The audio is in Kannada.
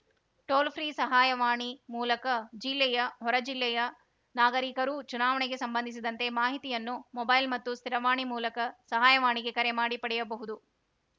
ಟೋಲ್‌ ಫ್ರೀ ಸಹಾಯವಣಿ ಮೂಲಕ ಜಿಲ್ಲೆಯ ಹೊರ ಜಿಲ್ಲೆಯ ನಾಗರಿಕರೂ ಚುನಾವಣೆಗೆ ಸಂಬಂಧಿಸಿದಂತೆ ಮಾಹಿತಿಯನ್ನು ಮೊಬೈಲ್‌ ಮತ್ತು ಸ್ಥಿರವಾಣಿ ಮೂಲಕ ಸಹಾಯವಾಣಿಗೆ ಕರೆ ಮಾಡಿ ಪಡೆಯಬಹುದು